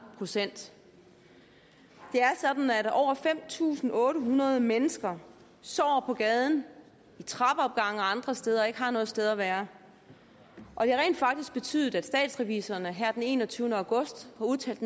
procent det er sådan at over fem tusind otte hundrede mennesker sover på gaden i trappeopgange eller andre steder og ikke har noget sted at være og det har rent faktisk betydet at statsrevisorerne her den enogtyvende august har udtalt